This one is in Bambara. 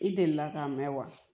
I delila k'a mɛn wa